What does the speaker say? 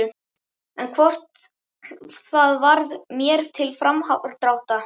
En hvort það varð mér til framdráttar!!